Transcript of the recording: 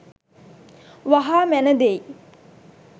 වහා මැන දෙයි.